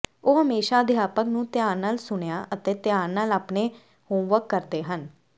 ਉਹ ਹਮੇਸ਼ਾ ਅਧਿਆਪਕ ਨੂੰ ਧਿਆਨ ਨਾਲ ਸੁਣਿਆ ਅਤੇ ਧਿਆਨ ਨਾਲ ਆਪਣੇ ਹੋਮਵਰਕ ਕਰਦੇ ਹਨ